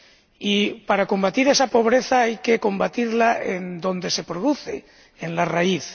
Y para combatir esa pobreza, hay que combatirla donde se produce en la raíz.